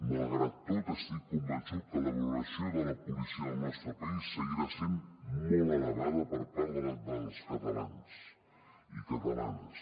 malgrat tot estic convençut que la valoració de la policia del nostre país seguirà sent molt elevada per part dels catalans i catalanes